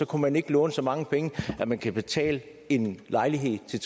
kan man ikke låne så mange penge at man kan betale en lejlighed til